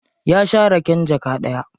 Ya sha raken jaka ɗaya.